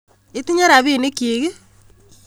Itinye rapinik kyik?